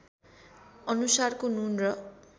अनुसारको नुन र